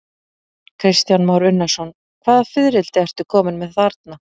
Kristján Már Unnarsson: Hvaða fiðrildi ertu kominn með þarna?